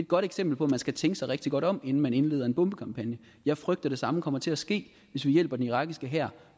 godt eksempel på at man skal tænke sig rigtig godt om inden man indleder en bombekampagne jeg frygter at det samme kommer til at ske hvis vi hjælper den irakiske hær